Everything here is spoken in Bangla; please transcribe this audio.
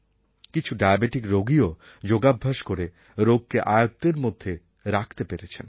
কিছু ডায়াবেটিক রোগীও যোগাভ্যাস করে রোগকে আয়ত্তের মধ্যে রাখতে পেরেছেন